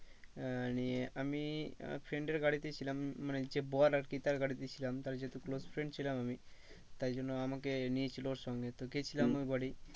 আহ নিয়ে আমি আমার friend এর গাড়িতেই ছিলাম মানে যে বর আরকি তার গাড়িতে ছিলাম তার যেহেতু close friend ছিলাম আমি। তাই জন্য আমাকে নিয়েছিল ওর সঙ্গে তো গিয়েছিলাম ওর বাড়ি